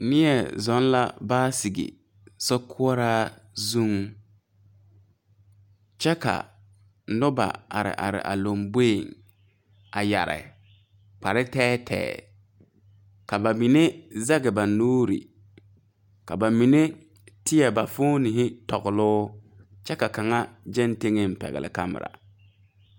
Nie zuŋ la baasige so koɔraa zuŋ kyɛ ka noba are are a lomboeŋ a yɛre kpare tɛɛtɛɛ ka ba mine zege ba nuure ka ba mine teɛ ba foonehi tɔgloo kyɛ ka kaŋa gyɛŋ teŋɛŋ pɛgle kamira.